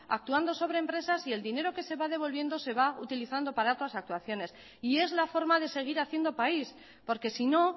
actuando sobre empresas y el dinero que se va devolviendo se va utilizando para otras actuaciones y es la forma de seguir haciendo país porque si no